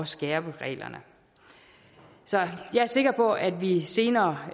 skærpe reglerne så jeg er sikker på at vi senere